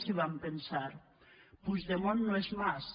i vam pensar puigdemont no és mas